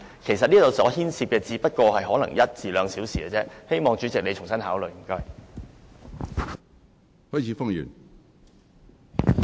其實，他們的發言時間可能只需一兩小時，希望主席你重新考慮，謝謝。